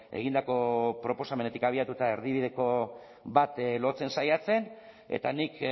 egindako proposamenetik abiatuta erdibideko bat lotzen saiatzen eta nik